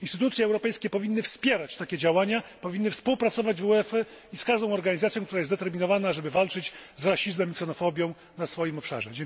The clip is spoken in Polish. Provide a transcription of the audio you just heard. Instytucje europejskie powinny wspierać takie działania, powinny współpracować z UEFA i każdą organizacją, która jest zdeterminowana, żeby walczyć z rasizmem i ksenofobią na swoim obszarze.